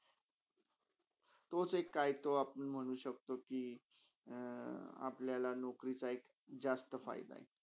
तोच एक काही तो आपुण म्हणू शकतो कि अपल्याला नोकरीचा एक जस्त फायदा हय.